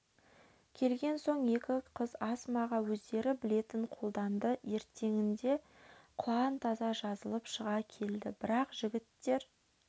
келген соң екі қыз асмаға өздері білетін қолданды ертеңінде құлан-таза жазылып шыға келді бірақ жігіттер